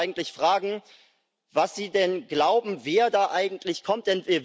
Ich wollte Sie eigentlich fragen, was Sie denn glauben, wer da eigentlich kommt.